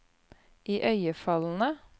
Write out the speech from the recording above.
iøynefallende